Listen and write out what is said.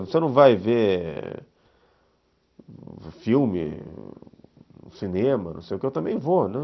Você não vai ver filme, cinema, não sei o que, eu também vou, né.